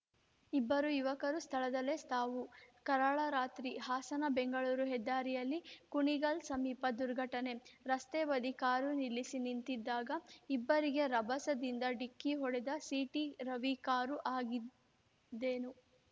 ಇಬ್ಬರು ಯುವಕರು ಸ್ಥಳದಲ್ಲೇ ಸಾವು ಕರಾಳ ರಾತ್ರಿ ಹಾಸನಬೆಂಗಳೂರು ಹೆದ್ದಾರಿಯಲ್ಲಿ ಕುಣಿಗಲ್‌ ಸಮೀಪ ದುರ್ಘಟನೆ ರಸ್ತೆ ಬದಿ ಕಾರು ನಿಲ್ಲಿಸಿ ನಿಂತಿದ್ದಾಗ ಇಬ್ಬರಿಗೆ ರಭಸದಿಂದ ಡಿಕ್ಕಿ ಹೊಡೆದ ಸಿಟಿರವಿ ಕಾರು ಆಗಿದ್ದೇನು